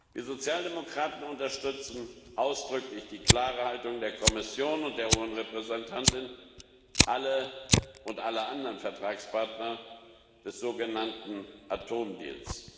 Die Sozialdemokraten unterstützen ausdrücklich die klare Haltung der Kommission und der hohen Repräsentantin und aller anderen Vertragspartner des sogenannten Atomdeals.